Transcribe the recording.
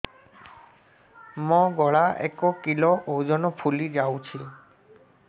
ମୋ ଗଳା ଏକ କିଲୋ ଓଜନ ଫୁଲି ଯାଉଛି